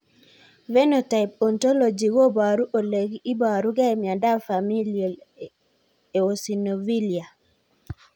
Phenotype ontology koparu ole iparukei miondop Familial eosinophilia